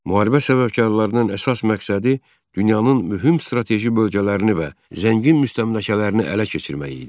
Müharibə səbəbkarlarının əsas məqsədi dünyanın mühüm strateji bölgələrini və zəngin müstəmləkələrini ələ keçirmək idi.